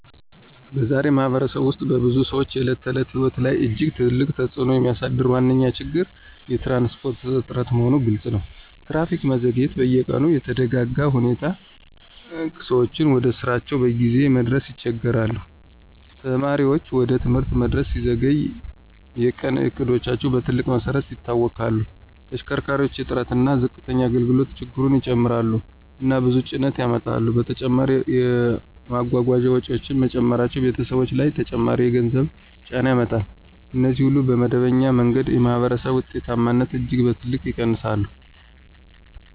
በዛሬ ማኅበረሰብ ውስጥ በብዙ ሰዎች የዕለት ተዕለት ሕይወት ላይ እጅግ ትልቅ ተጽእኖ የሚያሳድረው ዋነኛ ችግር የትራንስፖርት እጥረት መሆኑ ግልፅ ነው። ትራፊክ መዘግየት በየቀኑ የተደጋጋ ሁኔታ ሲሆን ሰዎች ወደ ስራቸው በጊዜ መድረስ ይቸገሣሉ። ተማሪዎች ወደ ትምህርት መድረስ ሲዘገይ የቀን እቅዶቻቸው በትልቅ መሰረት ይታወክላሉ። ተሽከርካሪ እጥረት እና ዝቅተኛ አገልግሎት ችግሩን ይጨምራሉ እና ብዙ ጭነት ያመጣሉ። በተጨማሪም የጓጓዣ ወጪዎች መጨመራቸው ቤተሰቦች ላይ ተጨማሪ የገንዘብ ጫና ያመጣል። እነዚህ ሁሉ በመደበኛ መንገድ የማኅበረሰብ ውጤታማነትን እጅግ በትልቅ ይቀንሳሉ